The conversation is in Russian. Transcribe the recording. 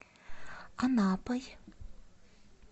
анапой